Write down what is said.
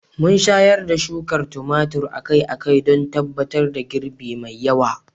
Mun shayar da shuka tumatir akai-akai don tabbatar da girbi mai yawa.